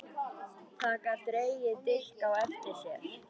Það gat dregið dilk á eftir sér.